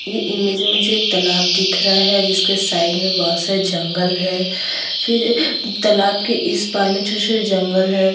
ये इमेज में मुझे एक तालाब दिख रहा है जिसके साइड में बहोत सा जंगल है फिर ए तालाब के इस पार में छोटे-छोटे जंगल है। .